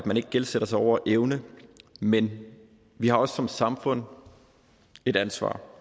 gældsætte sig over evne men vi har også som samfund et ansvar